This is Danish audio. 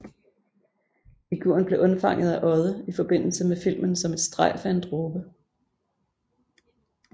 Figuren blev undfanget af Odde i forbindelse med filmen Som et strejf af en dråbe